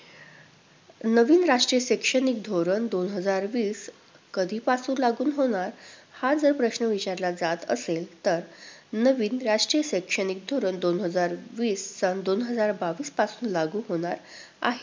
नवीन राष्ट्रीय शैक्षणिक धोरण दोन हजार वीस कधीपासून लागू होणार हा जर प्रश्न विचारला जात असेल तर नवीन राष्ट्रीय शैक्षणिक धोरण दोन हजार वीस सन दोन हजार बावीस पासून लागू होणार आहे.